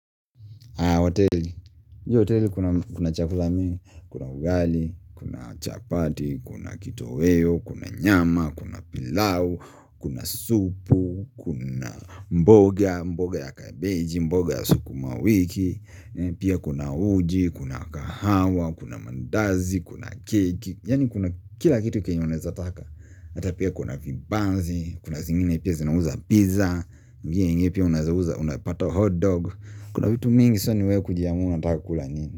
Hii hoteli kuna chakula mingi, kuna ugali, kuna chapati, kuna kitoweo, kuna nyama, kuna pilau, kuna supu, kuna mboga, mboga ya kabeji, mboga ya sukumawiki Pia kuna uji, kuna kahawa, kuna mandazi, kuna keki Yani kuna kila kitu kenye unawezataka Ata pia kuna vibanzi, kuna zingine pia zinauza pizza, unapata hotdog Kuna vittu mingi sana ni we kujiamuna unataka kula nini.